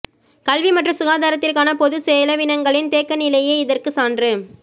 கல்வி மற்றும் சுகாதாரத்திற்கான பொது செலவினங்களின் தேக்கநிலையே இதற்கு சான்று